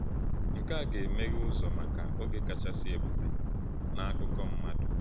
Nke a ga-emeghe ụzọ maka oge kachasị ebube n’akụkọ mmadụ.